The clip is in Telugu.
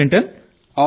bad Minton